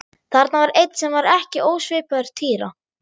Þarna var einn sem var ekki ósvipaður Týra.